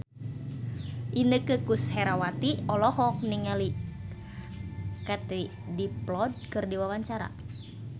Inneke Koesherawati olohok ningali Katie Dippold keur diwawancara